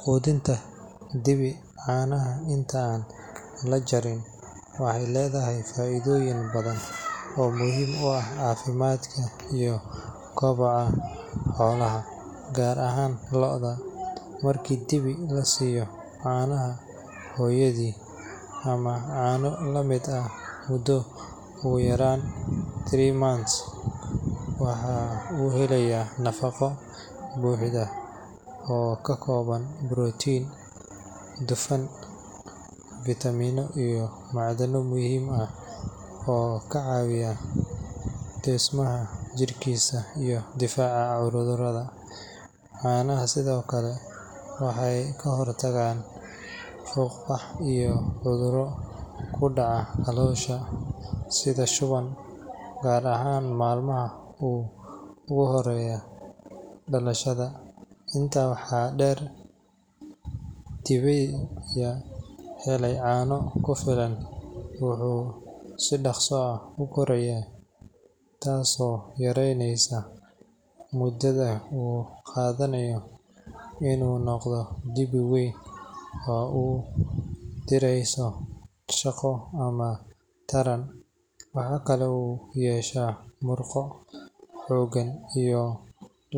Quudinta dibi caanaha inta aan la jarin waxay leedahay faa’iidooyin badan oo muhiim u ah caafimaadka iyo kobaca xoolaha, gaar ahaan lo’da. Marka dibi la siiyo caanaha hooyadii ama caano la mid ah muddo ugu yaraan three months, waxa uu helayaa nafaqo buuxda oo ka kooban borotiin, dufan, fiitamiinno iyo macdano muhiim ah oo ka caawiya dhismaha jirkiisa iyo difaaca cudurrada. Caanaha sidoo kale waxay ka hortagaan fuuqbax iyo cudurro ku dhaca caloosha sida shuban, gaar ahaan maalmaha ugu horreeya dhalashada. Intaa waxaa dheer, dibida helaya caano ku filan wuxuu si dhakhso ah u korayaa, taasoo yareyneysa muddada uu qaadanayo inuu noqdo dibi weyn oo u diyaarsan shaqo ama taran. Waxa kale oo uu yeeshaa murqo xooggan iyo